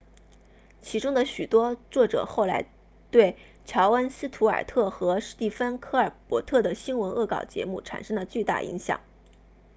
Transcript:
其中的许多作者后来对乔恩斯图尔特 jon stewart 和史蒂芬科尔伯特 stephen colbert 的新闻恶搞节目产生了巨大影响